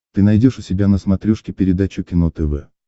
ты найдешь у себя на смотрешке передачу кино тв